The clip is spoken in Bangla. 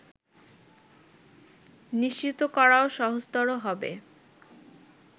নিশ্চিত করাও সহজতর হবে